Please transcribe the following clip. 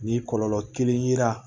Ni kɔlɔlɔ kelen yera